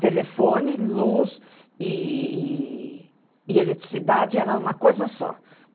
Telefone, luz e e e eletricidade era uma coisa só.